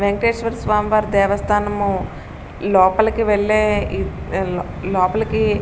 వేంకటేశ్వర స్వామి వారి దేవస్థానము లోపలికి వెళ్ళే ఈ ఈ లోపలికి --